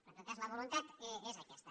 però en tot cas la voluntat és aquesta